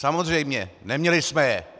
Samozřejmě, neměli jsme je!